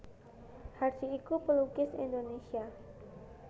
Hardi iku pelukis Indonesia